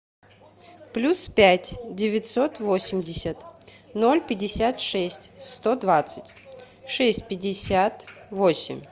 плюс пять девятьсот восемьдесят ноль пятьдесят шесть сто двадцать шесть пятьдесят восемь